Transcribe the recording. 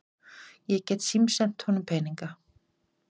Ég get símsent honum peninga.